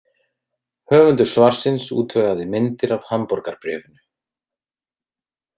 Höfundur svarsins útvegaði myndir af Hamborgarbréfinu.